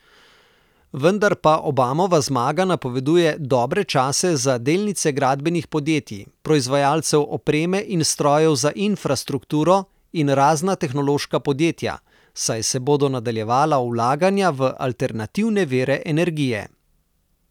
Vendar pa Obamova zmaga napoveduje dobre čase za delnice gradbenih podjetij, proizvajalcev opreme in strojev za infrastrukturo in razna tehnološka podjetja, saj se bodo nadaljevala vlaganja v alternativne vire energije.